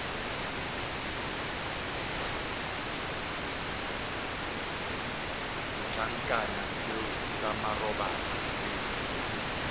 setlankana seo sa marobalo re